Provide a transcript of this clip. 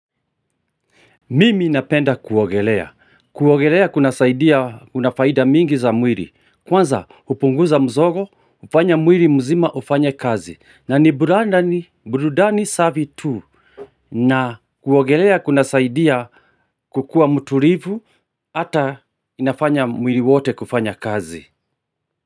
Mimi napenda kuogelea. Kuogelea kuna saidia unafaida mingi za mwili. Kwanza kupunguza mzogo, hufanya mwili mzima hufanye kazi. Na ni buranda ni burudani safi tu. Na kuogelea kuna saidia kukua mtulivu ata inafanya mwili wote kufanya kazi.